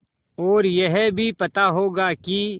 और यह भी पता होगा कि